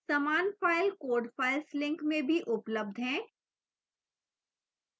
समान file code files link में भी उपलब्ध है